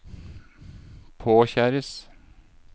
påkjæres